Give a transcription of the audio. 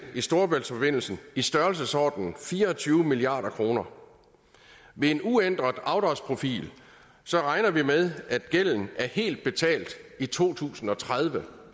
i storebæltsforbindelsen i størrelsesordenen fire og tyve milliard kroner ved en uændret afdragsprofil regner vi med at gælden er helt betalt i to tusind og tredive